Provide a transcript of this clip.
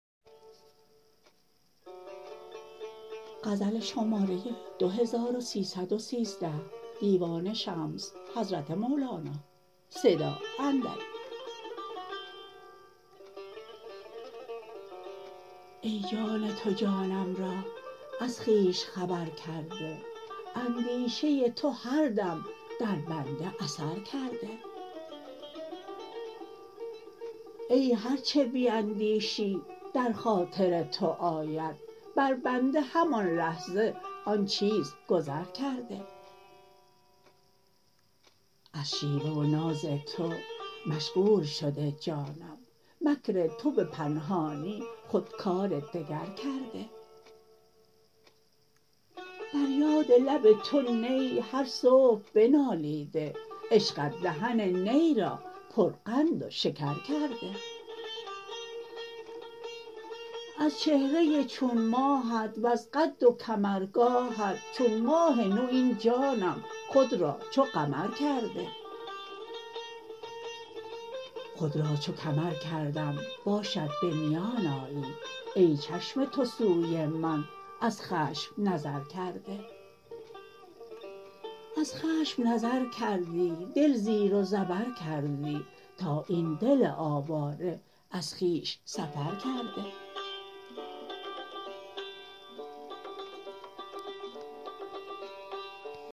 ای جان تو جانم را از خویش خبر کرده اندیشه تو هر دم در بنده اثر کرده ای هر چه بیندیشی در خاطر تو آید بر بنده همان لحظه آن چیز گذر کرده از شیوه و ناز تو مشغول شده جانم مکر تو به پنهانی خود کار دگر کرده بر یاد لب تو نی هر صبح بنالیده عشقت دهن نی را پرقند و شکر کرده از چهره چون ماهت وز قد و کمرگاهت چون ماه نو این جانم خود را چو کمر کرده خود را چو کمر کردم باشد به میان آیی ای چشم تو سوی من از خشم نظر کرده از خشم نظر کردی دل زیر و زبر کردی تا این دل آواره از خویش سفر کرده